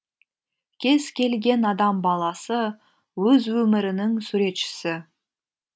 кез келген адам баласы өз өмірінің суретшісі